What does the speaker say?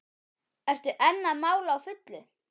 Ertu enn að mála á fullu?